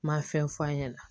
Ma fɛn f'a ɲɛna